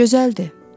Gözəldir.